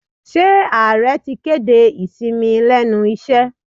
Ṣé ààrẹ ti kéde ìsinmi lẹ́nu iṣẹ́?